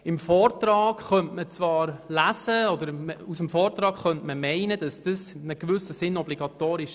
Liest man den Vortrag, könnte man zum Schluss kommen, er sei in einem gewissen Sinn obligatorisch.